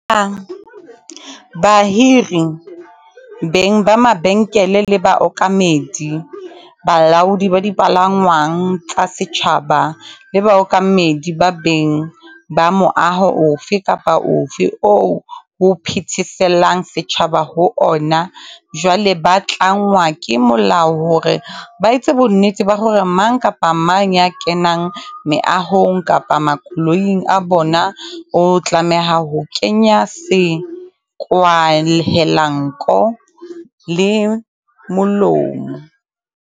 Bahiri, beng ba mabenkele le baokamedi, balaodi ba dipalangwang tsa setjhaba, le baokamedi kapa beng ba moaho ofe kapa ofe oo ho phetheselang setjhaba ho ona, jwale ba tlangwa ke molao hore ba etse bonnete ba hore mang kapa mang ya kenang meahong kapa makoloing a bona, o tlameha ho kenya sekwahelanko le molomo.